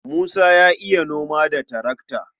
Musa ya iya noma da tarakta.